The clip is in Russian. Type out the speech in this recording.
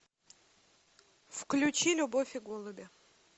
включи любовь и голуби